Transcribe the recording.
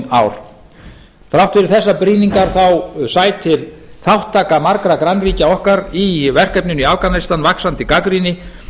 ár þrátt fyrir þessar brýningar sætir þátttaka margra grannríkja okkar í verkefninu í afganistan vaxandi gagnrýni